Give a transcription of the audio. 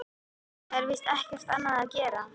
Það er víst ekki annað að gera.